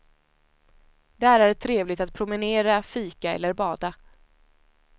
Där är trevligt att promenera, fika eller bada.